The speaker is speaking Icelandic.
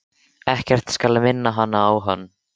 Ekkert skal minna hana á hann.